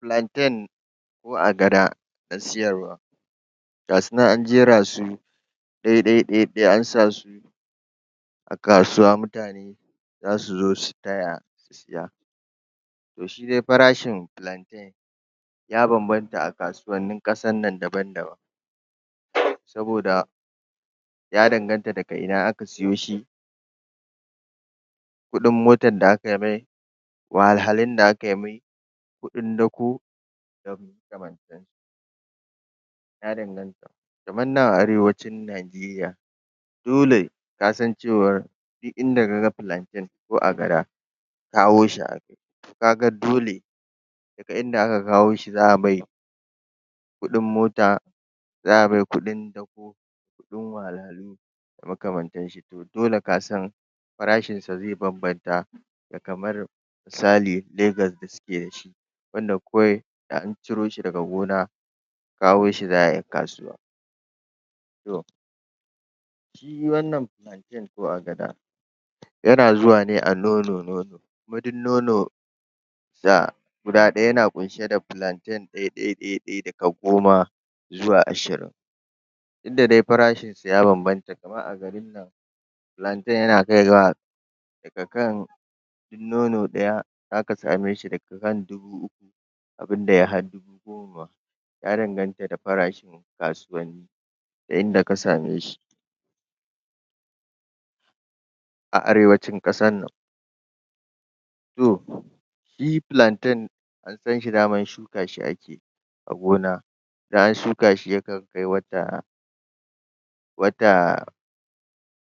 Plantain ko agada ta siyarwa gasu nan an jera su ɗai ɗai dai dai an sa su a kasuwa mutane zasu zo su taya, su siya to shi dai farashin plain ya banbanta a kasuwannin ƙasan nan daban daban saboda ya danganta daga ina aka siyoshi kuɗin motan da akai mai wahalhalun da akai mai kuɗin dako da makamantanshi ya danganta kamar nan a arewacin najeriya dole kasan cewar duk inda kaga plantain ko agada kawoshi akayi to kaga dole daka inda aka kawoshi za'a mai kuɗin mota za'a mai kuɗin dako kuɗin wahalhalu da makamantan shi to dole kasan farashinsa zai banbanta da kamar misali legas da suke dashi wanda kawai da an ciro shi daga gona, kawoshi kawai za'ai kasuwa to shi wannan plantain ko agada yana zuwa ne a nono- nono, kuma duk nono sa guda ɗaya na ƙunshe da plantain ɗaiɗai daka goma zuwa ashirin inda dai farashin su ya banbanta kamar a garin plantain yana kai ga daka kan duk nono ɗaya zaka sameshi daga kan dubu uku abunda yai har dubu goma ma ya danaganta da farashin kasuwanni da yanda ka same shi a arewacin ƙasar nan to shi plantain an sanshi daman shuka shi ake yi a gona da an shuka shi ya kan kai wata wata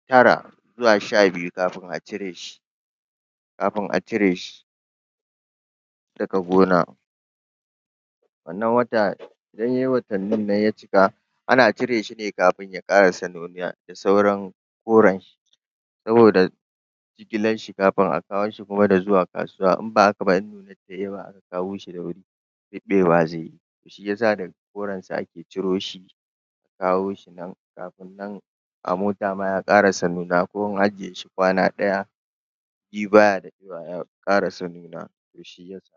tara zuwa sha biyu kafin a cire shi kafin a cire shi daka gona wannan wata lallai watannin nan ya cika ana cire shi ne kafin ya ƙarasa nuniya da sauran koranshi saboda jigilar shi kafin a kawo shi kuma da zuwa kasuwa in ba haka ba, in nunar tai yawa aka kawoshi da wuri ruɓewa zai yi, to shi yasa daga korensa ake ciroshi kawoshi nan kafin nan a mota ma ya ƙarasa nuna ko an aje shi kwana ɗaya sbiyu baya daɗewa ya ƙarasa nuna to shiyasa